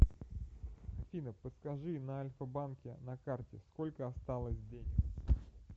афина подскажи на альфа банке на карте сколько осталось денег